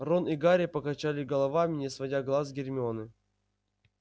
рон и гарри покачали головами не сводя глаз с гермионы